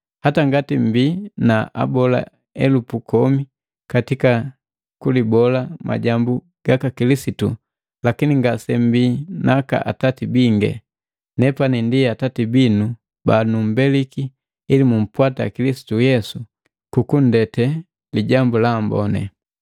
Hata ngati mbii na abola elupu komi katika kulibola majambu gaka Kilisitu, lakini ngasembii naka atati bingi. Nepani ndi atati binu banumbeliki ili mumpwata Kilisitu Yesu kukundete Lijambu la Amboni.